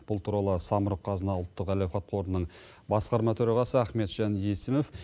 бұл туралы самұрық қазына ұлттық әл ауқат қорының басқарма төрағасы ахметжан есімов